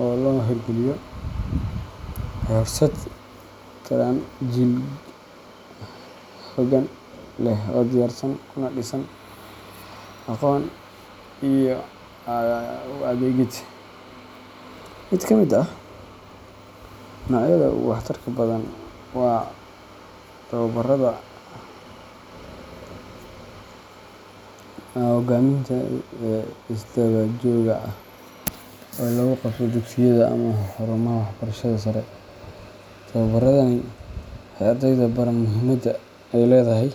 oo la hirgeliyo, waxay horseedi karaan jiil hoggaan leh oo diyaarsan kuna dhisan akhlaaq, aqoon iyo u adeegid. Mid ka mid ah noocyada ugu waxtarka badan waa tababarrada hoggaaminta ee isdaba-joogga ah oo lagu qabto dugsiyada ama xarumaha waxbarashada sare. Tababarradani waxay ardayda baraan muhiimadda ay leedahay.